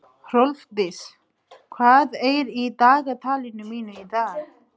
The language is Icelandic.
Hrólfdís, hvað er í dagatalinu mínu í dag?